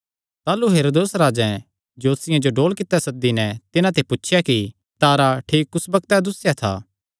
ताह़लू हेरोदेस राजैं ज्योतिषियां जो डोल कित्ते सद्दी नैं तिन्हां ते पुछया कि तारा ठीक कुस बग्तैं दुस्सेया था